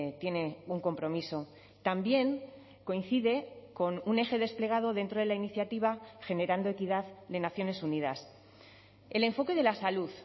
tiene un compromiso también coincide con un eje desplegado dentro de la iniciativa generando equidad de naciones unidas el enfoque de la salud